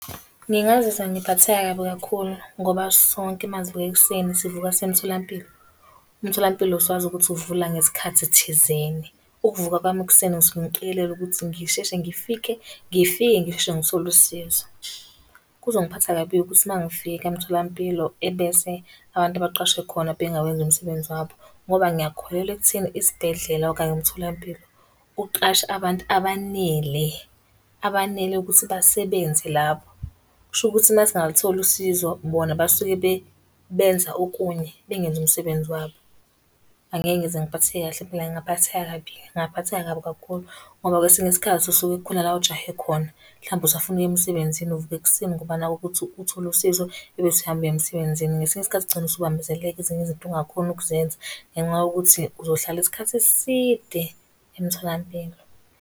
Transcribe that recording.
Ngingazizwa ngiphatheka kabi kakhulu ngoba sonke uma sivuka ekuseni, sivuka siye emtholampilo. Umtholampilo siwazi ukuthi uvula ngesikhathi thizeni. Ukuvuka kwami ekuseni ngisuke ngiqikelela ukuthi ngisheshe ngifike, ngifike ngisheshe ngithole usizo. Kungiphatha kabi-ke ukuthi uma ngifika emtholampilo ebese abantu abaqashwe khona bengawenzi umsebenzi wabo, ngoba ngiyakholelwa ekutheni isibhedlela okanye umtholampilo uqashe abantu abanele abanele ukuthi basebenze lapho. Kusho ukuthi uma singalutholi usizo bona basuke benza okunye bengenzi umsebenzi wabo. Angeke ngize ngiphatheke kahle impela ngingaphatheka kabi, ngingaphatheka kabi kakhulu ngoba kwesinye isikhathi usuke kukhona la ojahe khona, mhlawumpe usafuna ukuya emsebenzini uvuke ekuseni ngoba nakhu ukuthi uthole usizo ebese uhambe uye emsebenzini. Ngesinye isikhathi ugcine usubambezeleka ezinye izinto ungakhoni ukuzenza ngenxa yokuthi uzohlala isikhathi eside emtholampilo.